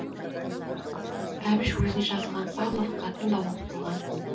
әбіш өзіне жазылған павлов хатын да оқып болған